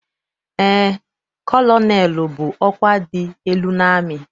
Eé, kọlọnelụ bụ ọkwa dị elu n'amị.